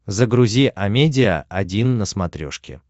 загрузи амедиа один на смотрешке